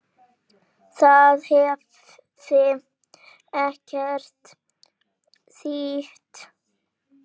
Það hefði ekkert þýtt.